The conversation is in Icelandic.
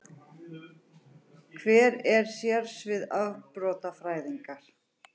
Hver eru sérsvið afbrotafræðinnar?